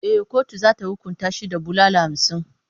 E, kotu za ta hukunta shi da bulala hamsin.